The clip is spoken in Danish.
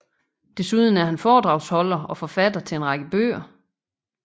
Desuden er han foredragsholder og forfatter til en række bøger